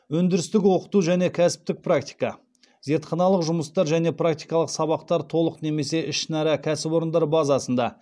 өндірістік оқыту және кәсіптік практика зертханалық жұмыстар және практикалық сабақтар толық немесе ішінара кәсіпорындар базасында